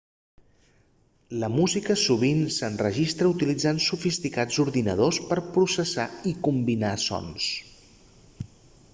la música sovint s'enregistra utilitzant sofisticats ordinadors per a processar i combinar sons